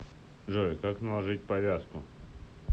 джой как наложить повязку